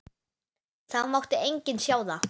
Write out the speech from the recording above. Það mátti enginn sjá það.